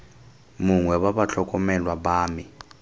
mongwe wa batlhokomelwa ba me